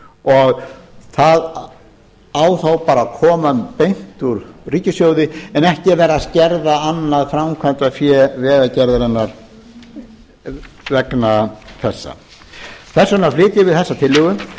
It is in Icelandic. og það á þá bara að koma beint úr ríkissjóði en ekki að vera að skerða annað framkvæmdafé vegagerðarinnar vegna þessa þess vegna flytjum við þessa tillögu